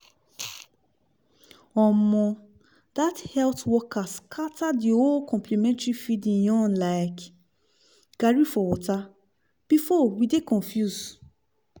omo! that health worker scatter the whole complementary feeding yarn like garri for water! before we dey confuse